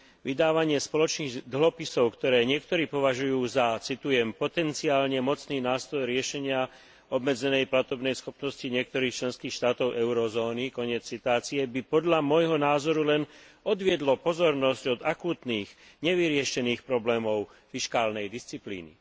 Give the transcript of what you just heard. Vydávanie spoločných dlhopisov, ktoré niektorí považujú za potenciálne mocný nástroj riešenia obmedzenej platobnej schopnosti niektorých členských štátov eurozóny by podľa môjho názoru len odviedlo pozornosť od akútnych, nevyriešených problémov fiškálnej disciplíny.